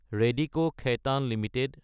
Radico Khaitan Ltd